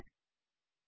का उपयोग कर रहे हैं